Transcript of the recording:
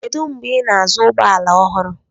Kedu mgbe ị na-azụ ụgbọ ala ọhụrụ?